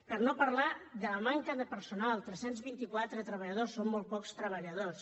per no parlar de la manca de personal tres cents i vint quatre treballadors són molt pocs treballadors